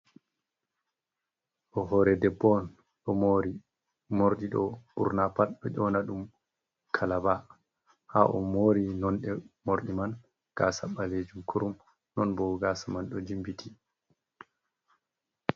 Ɗo hoore debbo on, ɗo mori. Morɗi ɗo ɓurna pat ɗo ƴona ɗum kalaba. Ha o mori nonɗe morɗi man. Gaasa ɓalejum kurum, non bo gaasa man ɗo jimbiti.